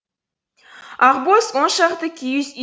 ақбоз он шақты киіз үй